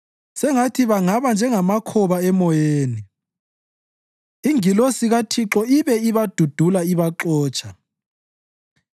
Sengathi bangaba njengamakhoba emoyeni, ingilosi kaThixo ibe ibadudula ibaxotsha;